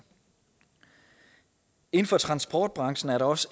inden for transportbranchen er der også